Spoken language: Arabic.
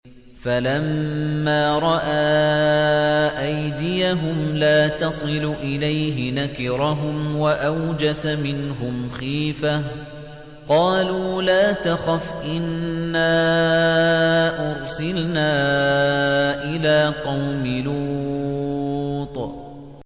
فَلَمَّا رَأَىٰ أَيْدِيَهُمْ لَا تَصِلُ إِلَيْهِ نَكِرَهُمْ وَأَوْجَسَ مِنْهُمْ خِيفَةً ۚ قَالُوا لَا تَخَفْ إِنَّا أُرْسِلْنَا إِلَىٰ قَوْمِ لُوطٍ